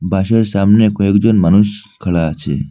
বাসের সামনে কয়েকজন মানুষ খাড়া আছে।